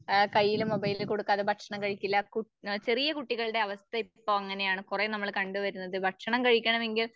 ആഹ് കയ്യില് മൊബൈൽ കൊടുക്കാതെ ഭക്ഷണം കഴിക്കില്ല. കു ചെറിയ കുട്ടികളുടെ അവസ്ഥ ഇപ്പൊ അങ്ങനെയാണ്. കുറേ നമ്മള് കണ്ടുവരുന്നത്.